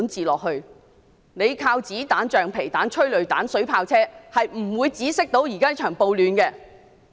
政府靠子彈、橡皮彈、催淚彈、水炮車是無法止息這場暴亂的。